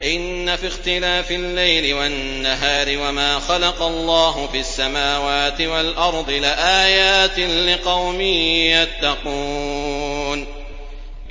إِنَّ فِي اخْتِلَافِ اللَّيْلِ وَالنَّهَارِ وَمَا خَلَقَ اللَّهُ فِي السَّمَاوَاتِ وَالْأَرْضِ لَآيَاتٍ لِّقَوْمٍ يَتَّقُونَ